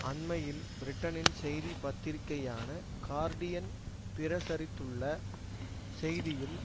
அண்மையில் பிரிட்டனின் செய்தி பத்திரிக்கையான கார்டியன் பிரசரித்துள்ள செய்தியில்